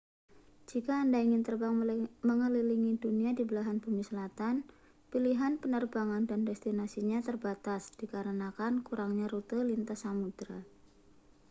jika anda ingin terbang mengelilingi dunia di belahan bumi selatan pilihan penerbangan dan destinasinya terbatas dikarenakan kurangnya rute lintas samudra